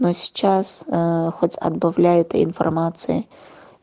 но сейчас аа хоть отбавляй этой информации